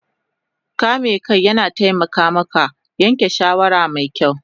Kame kai yana taimaka maka yanke shawara mai kyau